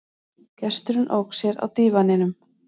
Gesturinn ók sér á dívaninum.